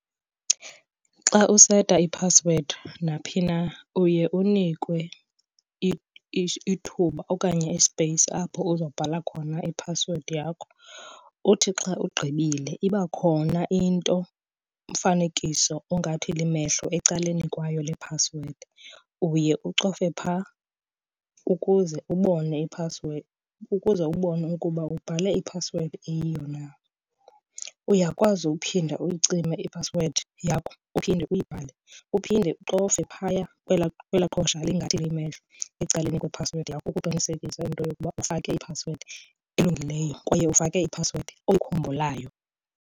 Xa useta iphasiwedi naphi na uye unikwe ithuba okanye isipeyisi apho uzobhatala khona iphasiwedi yakho. Uthi xa ugqibile iba khona into, umfanekiso ongathi limehlo ecaleni kwayo le phasiwedi. Uye ucofe phaa ukuze ubone iphasiwedi, ukuze ubone ukuba ubhale iphasiwedi eyiyo na. Uyakwazi uphinda uyicime iphasiwedi yakho uphinde uyibhale, uphinde ucofe phaya kwelaa qhosha lingathi limehlo ecaleni kwephasiwedi yakho ukuqinisekisa into yokuba ufake iphasiwedi elungileyo kwaye ufake iphasiwedi oyikhumbulayo.